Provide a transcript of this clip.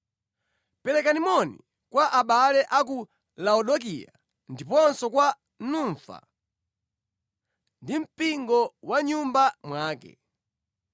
Perekani moni kwa abale a ku Laodikaya, ndiponso kwa Numfa ndi mpingo wa mʼnyumba mwake.